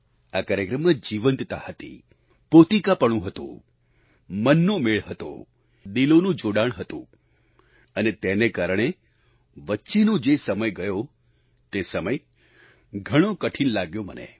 આ કાર્યક્રમમાં જીવંતતા હતી પોતિકાપણું હતું મનનો મેળ હતો દિલોનું જોડાણ હતું અને તેને કારણે વચ્ચેનો જે સમય ગયો તે સમય ઘણો કઠિન લાગ્યો મને